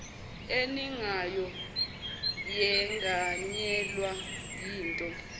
eningayo yenganyelwa yinto